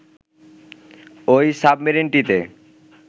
ওই সাবমেরিনটিতে